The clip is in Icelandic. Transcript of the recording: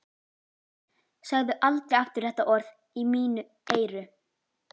Segðu aldrei aftur þetta orð í mín eyru.